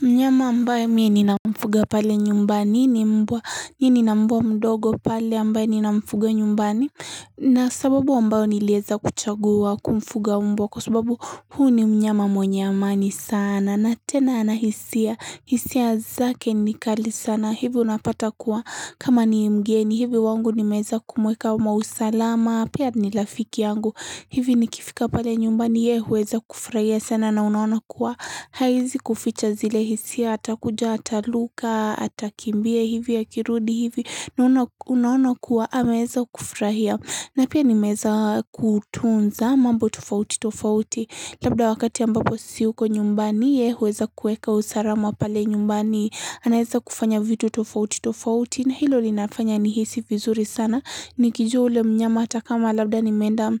Mnyama ambayo mi ni na mfuga pale nyumbani ni mbwa ni ni na mbwa mdogo pale ambayo ni na mfuga nyumbani na sababu ambayo nilueza kuchagua kumfuga mbwa kwa sababu huu ni mnyama mwenye amani sana na tena ana hisia hisia zake ni kali sana hivi unapata kuwa kama ni mgeni hivi wangu nimeweza kumweka wa mausalama Pia ni rafiki yangu hivi ni kifika pale nyumbani ye huweza kufrahia sana na unaona kuwa haizi kuficha zile hisia atakuja ataruka atakimbie hivi ya kirudi hivi na unaona kuwa ameweza kufurahia na pia ni meza kutunza mambo tufauti tufauti labda wakati ambapo siyuko nyumbani ye huweza kueka usalama pale nyumbani anaeza kufanya vitu tofauti tofauti na hilo linafanya nihisi vizuri sana Nikijua ule mnyama hata kama labda nimenda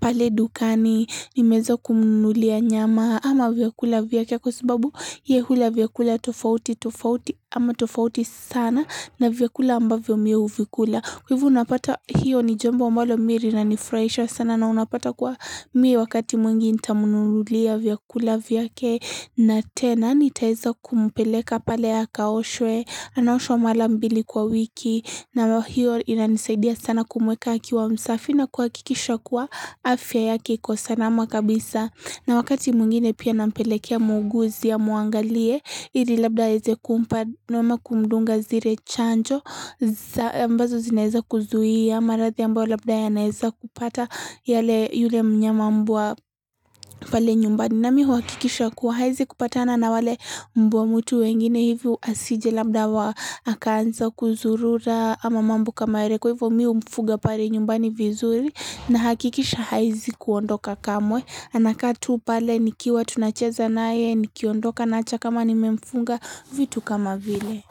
pale dukani, nimeweza kumnunulia nyama ama vyakula vyake kwa sababu ye hula vyakula tofauti sana na vyakula ambavyo mi huvikula. Kwa hivo unapata hiyo ni jambo ambalo mii na linafuraisha sana na unapata kwa mie wakati mwingi intamunululia vyakula vyake na tena nitaiza kumpeleka pale ya akaoshwe na naoshwa mara mbili kwa wiki na hiyo inanisaidia sana kumweka aki wa msafi na kuakikisha kuwa afya yaki kwa sana makabisa. Na wakati mungine pia nampelekea muuguzi amuangalie ili labda haweze kumpa nwema kumdunga zire chanjo ambazo zineza kuzuhia marathi ambao labda ya naeza kupata yale yule mnyama mbwa pale nyumbani. Na mi uhakikisha kuwa haizi kupatana na wale mbwa mtu wengine hivyo asije labda wa akaanza kuzurura ama mambu kama ere kwa hivyo miho mfuga pare nyumbani vizuri na hakikisha haizi kuondoka kamwe. Anakatu pale nikiwa tunacheza na ye nikiondoka nacha kama nimemfunga vitu kama vile.